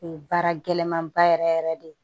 O ye baara gɛlɛman ba yɛrɛ yɛrɛ yɛrɛ de ye